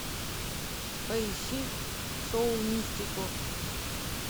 поищи шоу мистико